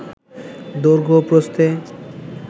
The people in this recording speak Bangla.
দৈর্ঘ্য ও প্রস্থে